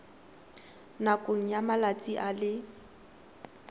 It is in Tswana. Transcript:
nakong ya malatsi a le